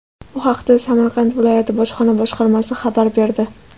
Bu haqda Samarqand viloyati bojxona boshqarmasi xabar berdi .